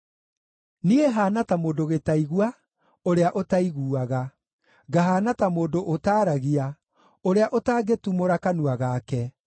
Niĩ haana ta mũndũ gĩtaigua, ũrĩa ũtaiguaga, ngahaana ta mũndũ ũtaaragia, ũrĩa ũtangĩtumũra kanua gake;